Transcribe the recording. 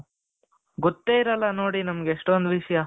ಗೊತ್ತೇ ಇರಲ್ಲ ನೋಡಿ ನಮಗೆ ಎಷ್ಟೊಂದು ವಿಷಯ.